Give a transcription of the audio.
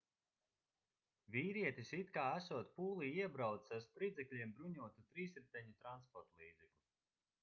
vīrietis it kā esot pūlī iebraucis ar spridzekļiem bruņotu trīsriteņu transportlīdzekli